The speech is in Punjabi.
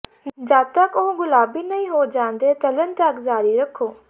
ਜਦ ਤਕ ਉਹ ਗੁਲਾਬੀ ਨਹੀਂ ਹੋ ਜਾਂਦੇ ਤਲਣ ਤੱਕ ਜਾਰੀ ਰੱਖੋ